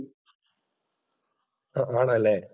ആണല്ലേ?